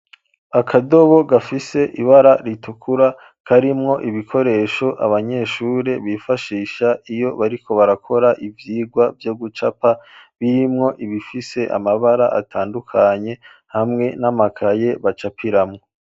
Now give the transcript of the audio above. Akadobo gafise ibara ritukura karimwo ibikoresho abanyeshuri bifashisha iyo bariko barakora ivyigwa vyo gucapa bimwo ibifise amabara atandukanye hamwe n'amakaye bacapiramwo.